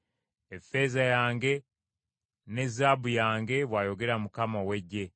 ‘Effeeza yange, ne zaabu yange,’ bw’ayogera Mukama ow’eggye.